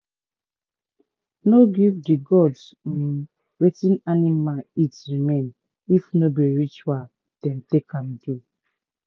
no give the gods um watin animal eat remain if no be ritual dem take am do